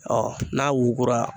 Ɔ n'a wugura